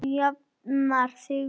Þú jafnar þig vinur.